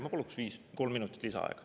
Ma paluks kolm minutit lisaaega.